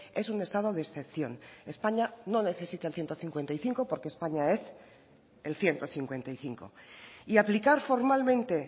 es un estado de excepción españa no necesita el ciento cincuenta y cinco porque españa es el ciento cincuenta y cinco y aplicar formalmente